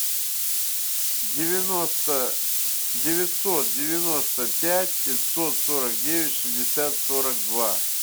девяносто девятьсот девяносто пять пятьсот сорок девять шестьдесят сорок два